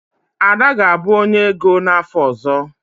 Ada ga-abụ onye ego n'afọ ọzọ.